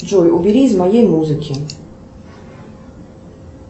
джой убери из моей музыки